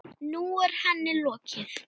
Nú er henni lokið.